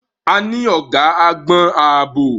A ní ọ̀gá àgbon ààbò.